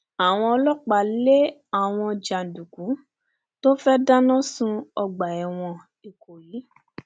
àwọn ọlọpàá lé àwọn jàǹdùkú tó fẹẹ dáná sun ọgbà ẹwọn ìkọyí